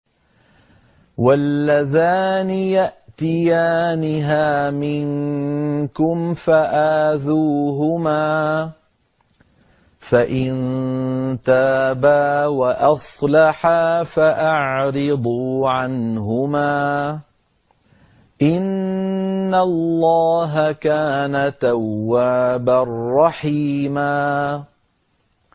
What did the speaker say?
وَاللَّذَانِ يَأْتِيَانِهَا مِنكُمْ فَآذُوهُمَا ۖ فَإِن تَابَا وَأَصْلَحَا فَأَعْرِضُوا عَنْهُمَا ۗ إِنَّ اللَّهَ كَانَ تَوَّابًا رَّحِيمًا